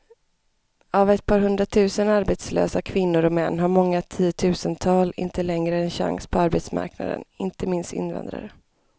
Av ett par hundratusen arbetslösa kvinnor och män har många tiotusental inte längre en chans på arbetsmarknaden, inte minst invandrare.